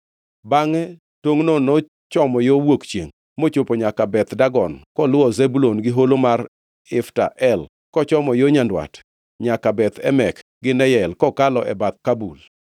Bangʼe tongʼno nochomo yo wuok chiengʼ mochopo nyaka Beth Dagon koluwo Zebulun gi Holo mar Ifta El, kochomo yo nyandwat nyaka Beth Emek gi Neyel kokalo e bath Kabul.